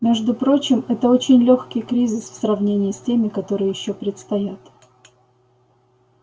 между прочим это очень лёгкий кризис в сравнении с теми которые ещё предстоят